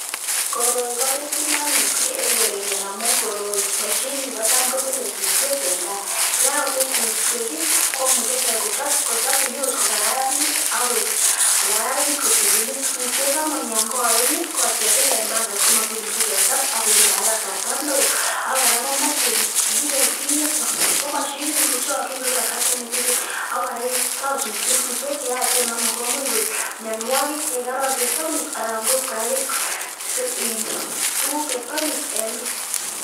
Koroi kobitunat mising eng koretnyo amu koroi kotam ketile suswek eng kaa yekakotil suswek komuchi kochop yut kokararanit kotililit suswek angot yokoen komuch ketil eng panget komakimuchi ketar akoibe kora kasarta neo ak kora komochei kiibe kingete ko machinit ni kochokyin koibe kasarta nekitigik ako raktoi suswek suswek cheyaach amu komuch kole mianwokik chekororon chesomis anan kib kora kerchek tuguk chesomis eng bii